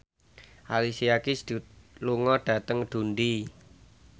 Alicia Keys lunga dhateng Dundee